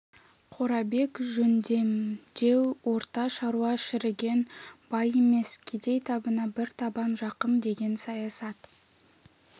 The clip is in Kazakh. қорабек жөндемдеу орта шаруа шіріген бай емес кедей табына бір табан жақын деген саясат